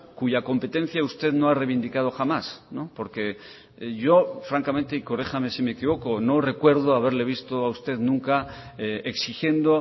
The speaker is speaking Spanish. cuya competencia usted no ha reivindicado jamás porque yo francamente y corríjame si me equivoco no recuerdo haberle visto a usted nunca exigiendo